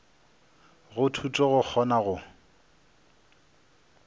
go thuto go kgona go